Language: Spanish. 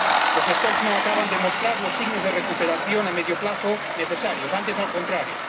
Las poblaciones no acaban de mostrar los signos de recuperación a medio plazo necesarios, antes al contrario.